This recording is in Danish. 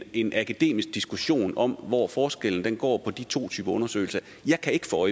en akademisk diskussion om hvor forskellen går på de to typer af undersøgelse jeg kan ikke få